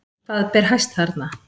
Hvað ber hæst þarna?